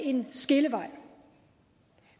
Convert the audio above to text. en skillevej